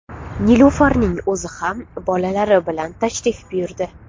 Nilufarning o‘zi ham bolalari bilan tashrif buyurdi.